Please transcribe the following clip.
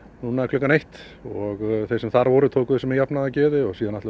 klukkan eitt og þeir sem þar voru tóku þessu með jafnaðargeði síðan